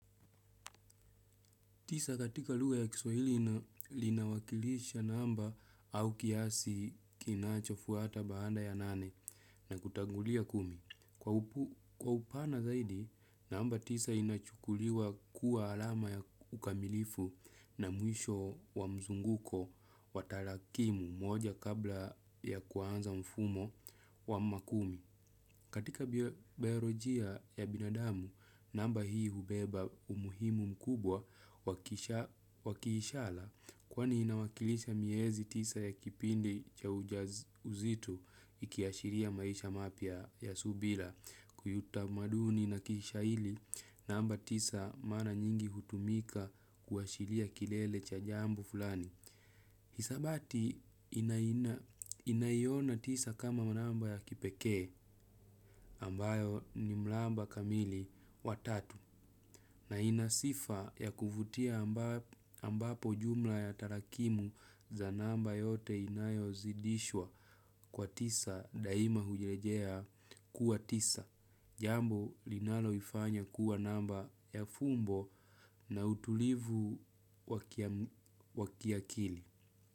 Tisa katika luga ya kiswahili linawakilisha namba au kiasi kinachofuata baada ya nane na kutangulia kumi. Kwa upana zaidi, namba tisa inachukuliwa kuwa alama ya ukamilifu na mwisho wa mzunguko wa tarakimu moja kabla ya kuanza mfumo wa makumi. Katika biyorojia ya binadamu, namba hii hubeba umuhimu mkubwa wakishala kwani inawakilisha miezi tisa ya kipindi cha ujazito ikiyashiria maisha mapia ya subila kuyuta maduni na kishaili namba tisa mara nyingi hutumika kuashiria kilele cha jambo fulani. Hisabati inayona tisa kama manamba ya kipeke ambayo ni mlamba kamili wa tatu na inasifa ya kuvutia ambapo jumla ya tarakimu za namba yote inayo zidishwa kwa tisa daima hujirejea kuwa tisa. Jambo linalo ifanya kuwa namba ya fumbo na utulivu wakiakili.